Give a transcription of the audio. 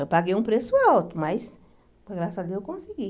Eu paguei um preço alto, mas, graças a Deus, eu consegui.